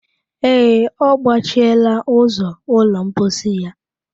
Ee, ọ gbachiela ụzọ ụlọ mposi ya